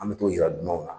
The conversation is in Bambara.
An bɛ t'o yira dunanw na